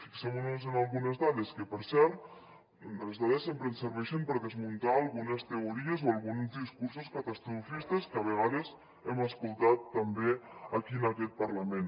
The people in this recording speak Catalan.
fixem nos en algunes dades que per cert les dades sempre ens serveixen per desmuntar algunes teories o alguns discursos catastrofistes que a vegades hem escoltat també aquí en aquest parlament